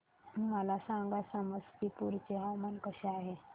मला सांगा समस्तीपुर चे हवामान कसे आहे